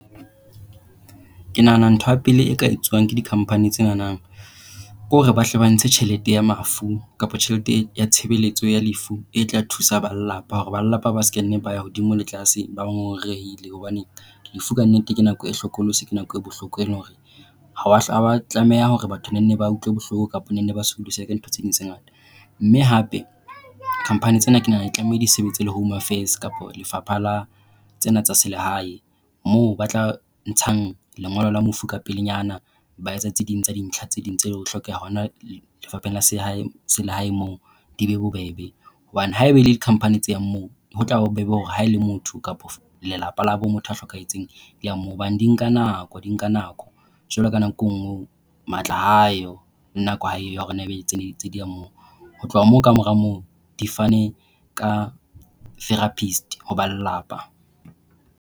Ke nahana ntho ya pele e ka etswang ke di-company tsena ke hore ba hle ba ntshe tjhelete ya mafu kapa tjhelete ya tshebeletso ya lefu e tla thusa ba lelapa hore ba lelapa ba sekenne ba ya hodimo le tlase, ba ngongorehile. Hobane lefu ka nnete ke nako e hlokolosi. Ke nako e bohloko e leng hore ha wa ba tlameha hore batho banne ba utlwe bohloko kapa banne ba sokodiswe ke ntho tse ding tse ngata. Mme hape company tsena, ke nahana di tlameha di sebetse le home affairs kapa lefapha la tsena tsa selehae moo ba tla ntshang lengolo la mofu ka pelenyana. Ba etsa tse ding tsa dintlha tse ding tse tla hlokeha hona Lefapheng la sehalehae moo di be bobebe hobane haeba e le di-company tse yang moo ho bobebe hore ha e le motho kapa lelapa labo motho a hlokahetseng di moo. Hobane di nka nako, di nka nako, jwalo ka nako e nngwe matla ha a yo le nako ha e yo hore ba nne ba etse dintho tsa moo. Ho tloha moo, kamora moo di fane ka therapist ho ba lelapa.